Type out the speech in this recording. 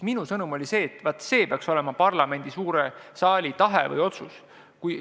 Minu sõnum oli see, et see peaks olema parlamendi suure saali otsus.